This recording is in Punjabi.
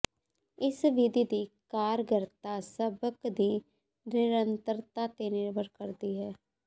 ਇਸ ਵਿਧੀ ਦੀ ਕਾਰਗਰਤਾ ਸਬਕ ਦੀ ਨਿਰੰਤਰਤਾ ਤੇ ਨਿਰਭਰ ਕਰਦੀ ਹੈ